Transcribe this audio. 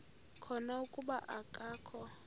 khona kuba akakho